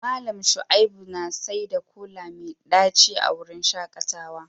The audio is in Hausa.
Mallam Shaibu saida kola mai daci a wurin shakatawa